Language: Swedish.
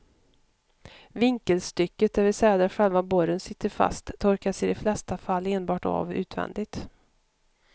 Vinkelstycket, det vill säga där själva borren sitter fast, torkas i de flesta fall enbart av utvändigt.